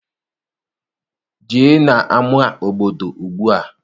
Jee n'ama obodo ugbua!